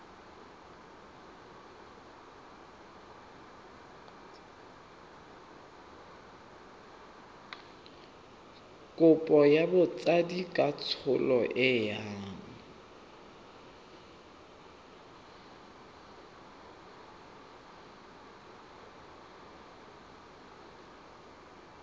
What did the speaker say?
kopo ya botsadikatsholo e yang